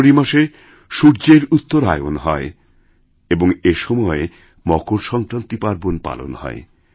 জানুয়ারি মাসে সূর্যেরউত্তরায়ণ হয় এবং এসময় মকর সংক্রান্তি পার্বণ পালন হয়